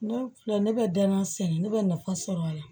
Ne filɛ ne bɛ dana sɛnɛ ne bɛ nafa sɔrɔ a la